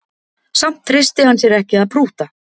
Samt treysti hann sér ekki að prútta